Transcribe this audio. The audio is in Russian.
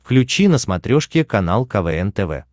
включи на смотрешке канал квн тв